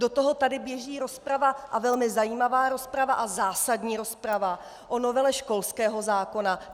Do toho tady běží rozprava, a velmi zajímavá rozprava a zásadní rozprava, o novele školského zákona.